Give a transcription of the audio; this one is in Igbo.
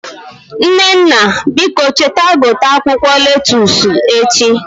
Nnenna biko cheta gote akwụkwọ lettusu echi